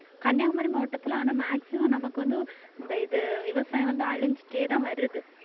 கன்னியாகுமரி மாவட்டத்தில ஆனா maximum நமக்கு வந்து இந்த இது விவசாயம் வந்து அழிஞ்சிட்டேதான் வருது